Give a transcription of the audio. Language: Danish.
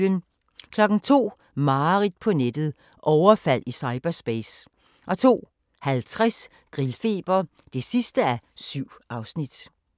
02:00: Mareridt på nettet - overfald i cyberspace 02:50: Grillfeber (7:7)